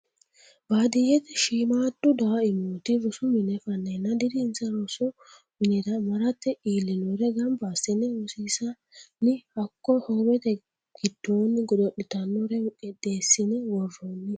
Baadiyyete shiimadu daimmotu rosu mine fanenna dirinsa rosu minira marrate iillinore gamba assine rosiissanni hakko hoowete giddoni godo'littanore qixeessine woronni.